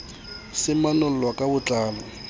se manollwa ka bo tlalo